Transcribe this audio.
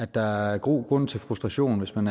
der er god grund til frustration hvis man